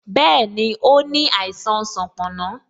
Bẹẹni, ó ní àìsàn sanponna